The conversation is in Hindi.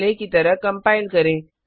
पहले की तरह कंपाइल करें